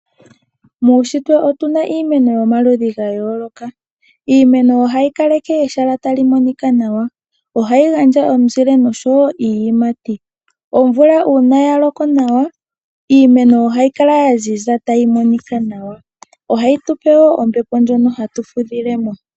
Muushitwe otu na iimeno yomaludhi ga yooloka. Iimeno ohayi kaleke ehala tali monika nawa. Ohayi gandja omuzile osho wo iiyimati. Omvula uuna ya loko nawa iimeno ohayi kala ya ziza tayi monika nawa. Ohayi tu pe wo ombepo ndjono hatu fudhile mo.